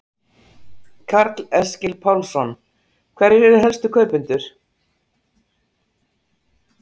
Karl Eskil Pálsson: Hverjir eru helstu kaupendur?